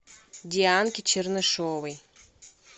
дианки чернышевой